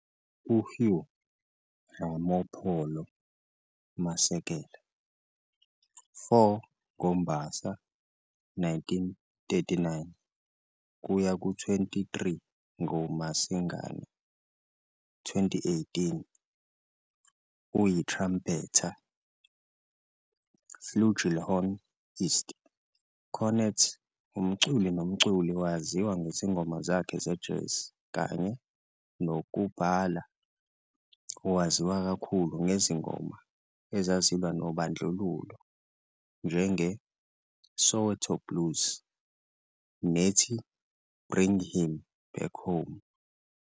U-Hugh Ramopolo Masekela, 4 ngoMbasa 1939 - 23 ngoMasingana 2018, uyi-trumpeter, flugelhorn ist, cornet, umculi nomculi. Wayaziwa ngezingoma zakhe ze-jazz, kanye nokubhala owaziwa kakhulu ngezingoma ezazilwa nobandlululo njenge "Soweto Blues" nethi "Bring Him Back Home".